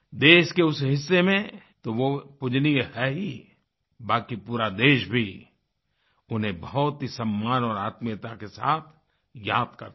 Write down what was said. देश के उस हिस्से में तो वह पूज्यनीय है हीं बाकी पूरा देश भी उन्हें बहुत ही सम्मान और आत्मीयता के साथ याद करता है